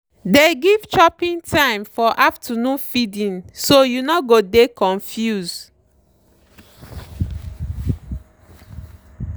dey give chopping time for afternoon feedingso you no go dey confuse.